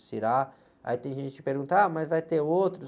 aí tem gente que pergunta, ah, mas vai ter outros?